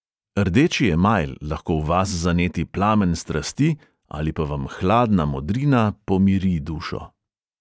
Rdeči emajl lahko v vas zaneti plamen strasti ali pa vam hladna modrina pomiri dušo.